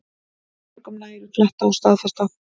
Mörgum nægir að fletta og staðfesta